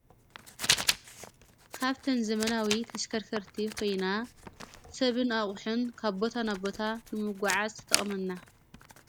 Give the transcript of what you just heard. ካብተን ዘመናዊ ተሽከርከርቲ ኮይና ሰብን ኣቝሕን ካቦታ ናቦታ ንምጐዓዝ ትጠቅመና።